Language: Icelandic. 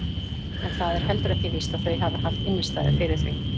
En það er heldur ekki víst að þau hafi haft innistæðu fyrir því.